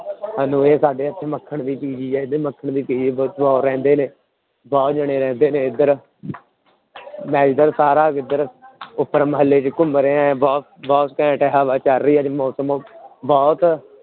ਸਾਨੂੰ ਇਹ ਸਾਡੇ ਇੱਥੇ ਮੱਖਣ ਵੀ ਰਹਿੰਦੇ ਨੇ, ਬਹੁਤ ਜਾਣੇ ਰਹਿੰਦੇ ਨੇ ਇੱਧਰ ਮੈਂ ਇੱਧਰ ਸਾਰਾ ਇੱਧਰ ਉੱਪਰ ਮੁਹੱਲੇ ਚ ਘੁੰਮ ਰਿਹਾ ਹੈ ਬਹੁੁਤ, ਬਹੁਤ ਘੈਂਟ ਹਵਾ ਚੱਲ ਰਹੀ ਹੈ ਅੱਜ ਮੌਸਮ ਬਹੁਤ